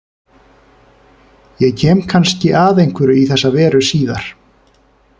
Ég kem kannski að einhverju í þessa veru síðar.